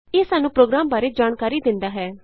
ਇਹ ਸਾਨੂੰ ਪ੍ਰੋਗਰਾਮ ਬਾਰੇ ਜਾਣਕਾਰੀ ਦਿੰਦਾ ਹੈ